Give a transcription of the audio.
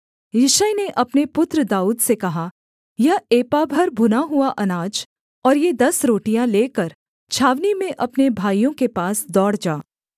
यिशै ने अपने पुत्र दाऊद से कहा यह एपा भर भुना हुआ अनाज और ये दस रोटियाँ लेकर छावनी में अपने भाइयों के पास दौड़ जा